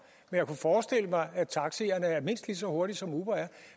jeg kunne forestille mig at taxierne er mindst lige så hurtige som uber er